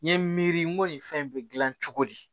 N ye miiri n ko nin fɛn in be gilan cogo di